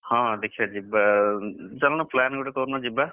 ହଁ ଦେଖିଆ ଯିବା ଉଁ ଚାଲୁନ plan ଗୋଟେ କରୁନ ଯିବା।